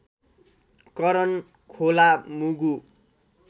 करन खोला मुगु